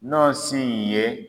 N'ɔ sin'i ye.